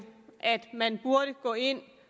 at man burde gå ind